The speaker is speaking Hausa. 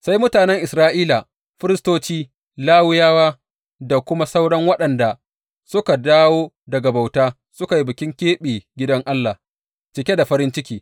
Sai mutanen Isra’ila, firistoci, Lawiyawa da kuma sauran waɗanda suka dawo daga bauta suka yi bikin keɓe gidan Allah, cike da farin ciki.